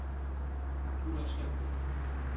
Ullerslev